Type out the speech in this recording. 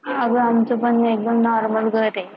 अगं आमचं पण एकदम normal घर आहे